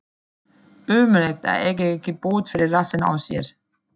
Ömurlegt að eiga ekki bót fyrir rassinn á sér.